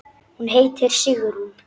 Hún heitir Sigrún.